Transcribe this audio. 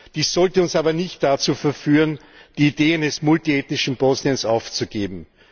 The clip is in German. Dies sollte uns aber nicht dazu verführen, die Idee eines multiethnischen Bosniens aufzugeben.